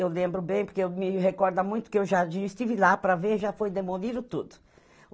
Eu lembro bem, porque eu me recorda muito que o Jardim, estive lá para ver, já foi demolido tudo.